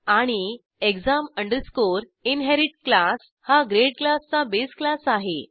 आणि exam inherit class हा grade क्लासचा बेस क्लास आहे